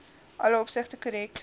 alle opsigte korrek